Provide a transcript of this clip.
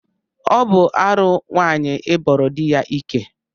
Ọ bụ arụ nwaanyị ịbọrọ di ya ike